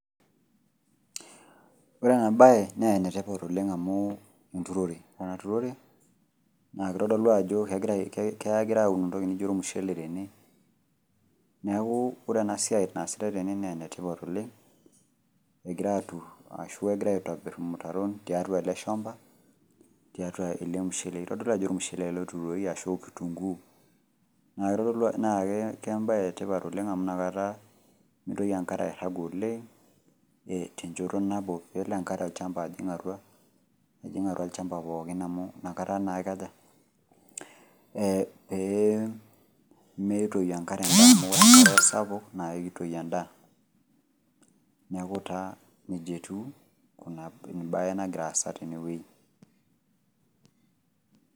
Ore enabaye naa enetipat oleng' amu enturore, orena turore naakeitodolu ajo kegirai aun intoki nijo olmushele tene. Neaku enasiai naasitai tene neenetipat oleng' egirai aturr aashu egirai aitobirr imutaron tiatua ele shamba tiatua ele mushele. Eitodolu ajo olmushele ele otuturoki ashu kitunguu neaku eitodolu ajo, naake kembaye etipat oleng' amu inakata meitoki enkare airrag oleng' ee tenchoto nabo peelo enkare olchamba ajing atua , ejing atua olchamba pookin amu nakata naa eikaja ? Eeh peemeitoi enkare amu ore enkare sapuk naake eitoi endaa. Neaku taa neija etiu kuna embaye nagiraasa tenewuei.